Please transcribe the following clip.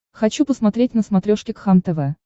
хочу посмотреть на смотрешке кхлм тв